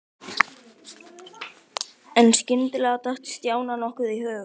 En skyndilega datt Stjána nokkuð í hug.